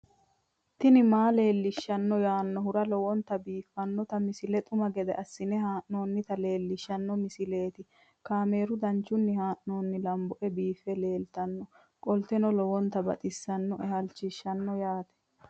tini maa leelishshanno yaannohura lowonta biiffanota misile xuma gede assine haa'noonnita leellishshanno misileeti kaameru danchunni haa'noonni lamboe biiffe leeeltannoqolten lowonta baxissannoe halchishshanno yaate